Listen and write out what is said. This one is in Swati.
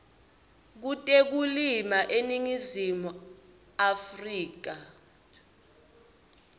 kutekulima eningizimu afrika